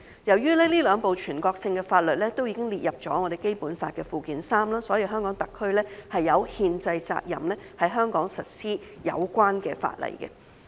由於這兩部全國性法律已經列入《基本法》附件三，香港特區有憲制責任在香港實施有關法例。